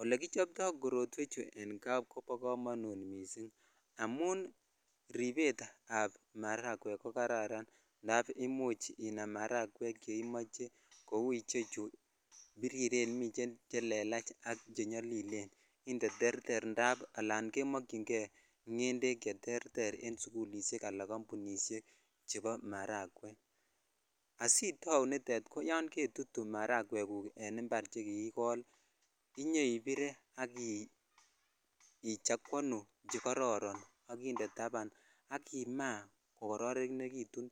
Ole kichobtoi korotwechu an kaa kobo komonut missing amun ripet ab maragwek ko kararan indap imuch inam marakwek cheimoche kou chu biriren miten che lelach ak chenyolilen ak indee terter indap kimokyin kei ngetek cheterter en sukulishek chebo marangek asitau niton ko yon ketutu maragwek guk che kiikol inyoibire ak ichakwonu che kororon ak inde tapan ak imaa kokororonekitun